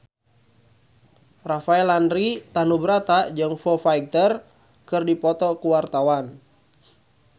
Rafael Landry Tanubrata jeung Foo Fighter keur dipoto ku wartawan